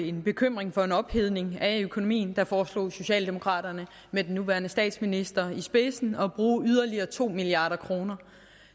en bekymring for en ophedning af økonomien foreslog socialdemokraterne med den nuværende statsminister i spidsen at bruge yderligere to milliard kroner